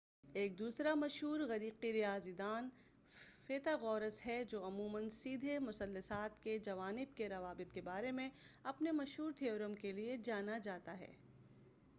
ایک دوسرا مشہور إغریقی ریاضی داں فیثاغورس ہے جو عموماً سیدھے مثلثات کے جوانب کے روابط کے بارے میں اپنے مشہور تھیورم کے لئے جانا جاتا ہے۔